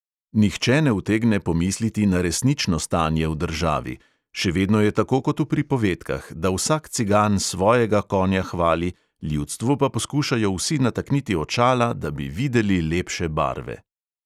Nihče ne utegne pomisliti na resnično stanje v državi, še vedno je tako kot v pripovedkah, da vsak cigan svojega konja hvali, ljudstvu pa poskušajo vsi natakniti očala, da bi videli lepše barve.